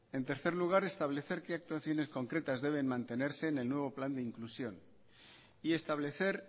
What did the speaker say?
en tercer lugar establece qué actuaciones concretas deben mantenerse en el nuevo plan de inclusión y establecer